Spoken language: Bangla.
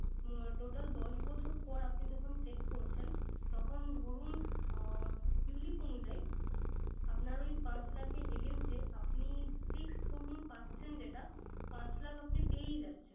Total দশ বছর পর আপনি যখন শেষ করছেন। তখন ধরুন আহ ulip অনুযায়ী আপনার ওই পাঁচ লাখের against এ আপনি fixed ধরুন পাচ্ছেন যেটা পাঁচ লাখ আপনি পেয়েই যাচ্ছেন।